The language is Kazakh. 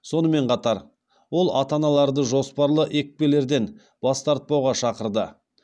сонымен қатар ол ата аналарды жоспарлы екпелерден бас тартпауға шақырды